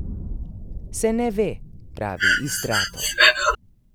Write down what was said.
Se ne ve, pravi Istrato.